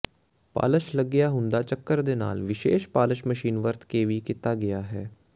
polish ਲੱਗਿਆ ਹੁੰਦਾ ਚੱਕਰ ਦੇ ਨਾਲ ਵਿਸ਼ੇਸ਼ ਪਾਲਿਸ਼ ਮਸ਼ੀਨ ਵਰਤ ਕੇ ਵੀ ਕੀਤਾ ਗਿਆ ਹੈ